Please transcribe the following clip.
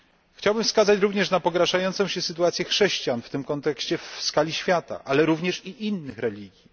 Chciałbym wskazać również na pogarszającą się sytuację chrześcijan w tym kontekście w skali świata, ale również i innych religii.